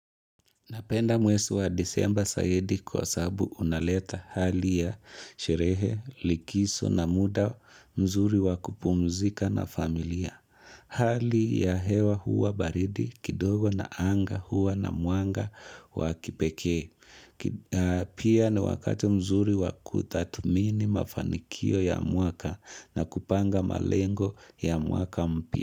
Napenda mwezi wa disemba zaidi kwa sababu unaleta hali ya sherehe, likizo na muda mzuri wakupumzika na familia. Hali ya hewa huwa baridi kidogo na anga huwa na mwanga wakipeke. Pia na wakati mzuri wakutadhumini mafanikio ya muaka na kupanga malengo ya mwaka mpya.